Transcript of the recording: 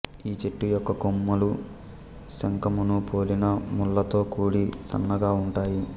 ఈ చెట్టు యొక్క కొమ్మలు శంఖమును పోలిన ముళ్ళతో కూడి సన్నగా ఉంటాయి